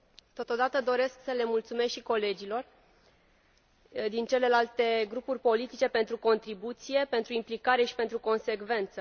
Totodată, doresc să le mulțumesc și colegilor din celelalte grupuri politice pentru contribuție, pentru implicare și pentru consecvență.